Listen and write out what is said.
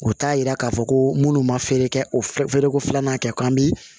O t'a yira k'a fɔ ko minnu ma feere kɛ o feereko filanan kɛ k'an bi